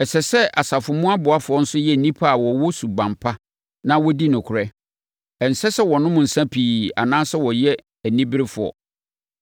Ɛsɛ sɛ asafo mu aboafoɔ nso yɛ nnipa a wɔwɔ suban pa na wɔdi nokorɛ. Ɛnsɛ sɛ wɔnom nsã pii anaasɛ wɔyɛ aniberefoɔ.